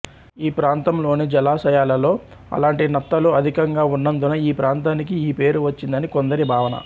ఈ ప్రాంతంలోని జలాశయాలలో అలాంటి నత్తలు అధికంగా ఉన్నందున ఈ ప్రాంతానికి ఈ పేరు వచ్చిందని కొందరి భావన